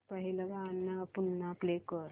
पहिलं गाणं पुन्हा प्ले कर